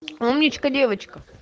умничка девочка